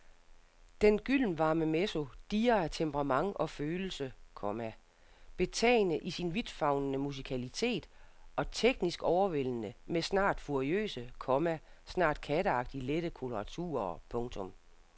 Den gyldenvarme mezzo dirrer af temperament og følelse, komma betagende i sin vidtfavnende musikalitet og teknisk overvældende med snart furiøse, komma snart katteagtigt lette koloraturer. punktum